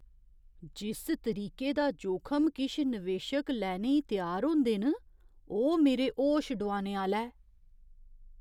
जिस तरीके दा जोखम किश निवेशक लैने ई त्यार होंदे न, ओह् मेरे होश डुआने आह्‌ला ऐ।